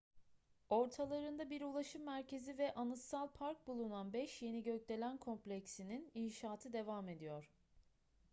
ortalarında bir ulaşım merkezi ve anıtsal park bulunan beş yeni gökdelen kompleksinin inşaatı devam ediyor